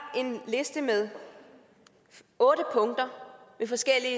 en liste med otte punkter med forskellige